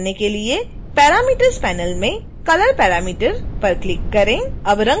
ऐसा करने के लिए parameters panel में color parameter पर क्लिक करें